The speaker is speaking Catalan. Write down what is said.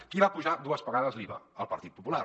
qui va apujar dues vegades l’iva el partit popular